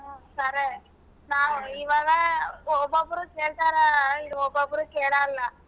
ಹ್ಮ್ ಕರೆ ನಾವ್ ಇವಾಗ ಓಬ್ಬೊಬ್ರೂ ಕೆಳ್ತಾರ ಓಬ್ಬೊಬ್ರೂ ಕೇಳಲ್ಲಾ.